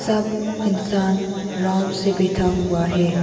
सब इंसान आराम से बैठा हुआ है।